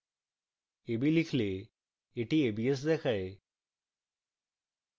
ab লিখলে এটি abs দেখায়